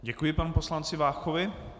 Děkuji panu poslanci Váchovi.